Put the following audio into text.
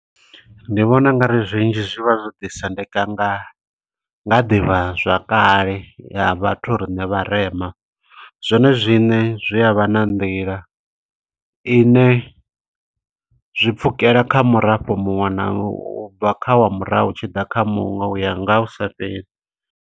Ndi vhona u nga ri zwinzhi zwivha zwo ḓi sendeka nga nga ḓivha zwakale ya vhathu riṋe vharema. Zwone zwiṋe zwi a vha na nḓila ine, zwi pfukela kha murafho muṅwe na, u bva kha wa murahu, hu tshi ḓa kha muṅwe. Uya nga hu sa fheli.